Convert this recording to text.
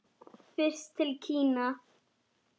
Fyrst til Kína.